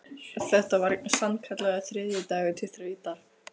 Þetta var sannkallaður þriðjudagur til þrautar.